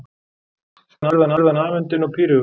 spurði hann afundinn og píreygur.